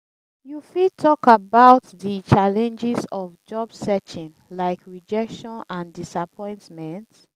you fit talk about di challenges of job searching like rejection and disappointment.